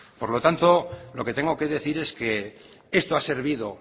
por lo tanto lo que tengo que decir es que esto ha servido